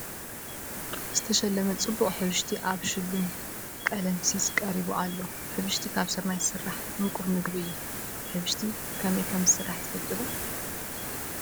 ዝተሸለመ ፅቡቕ ሕብሽቲ ኣብ ሽሉም ቀለምሲስ ቀሪቡ ኣሎ፡፡ ሕብሽቲ ካብ ስርናይ ዝስራሕ ምቁር ምግቢ እዩ፡፡ ሕብሽቲ ከመይ ከምዝስራሕ ትፈልጡ ዶ?